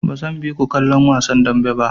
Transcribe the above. Bazan bi ku kallon wasan dambe ba.